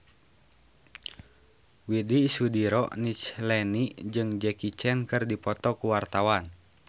Widy Soediro Nichlany jeung Jackie Chan keur dipoto ku wartawan